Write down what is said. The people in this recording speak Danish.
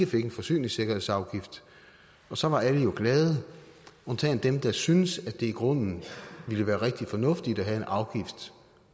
fik en forsyningssikkerhedsafgift og så var alle jo glade undtagen dem der syntes at det i grunden ville være rigtig fornuftigt at have en afgift